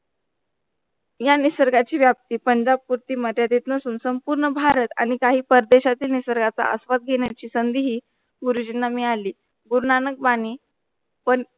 या निसर्ग ची व्याप्ती पंधरा पोटी मर्यादित नसून संपूर्ण भारत आणि काही परदेशाची निसर्गाचा आस्वाद घेण्याची संधी हि गुरुजींना मिळाली गुरुनानक बानी पण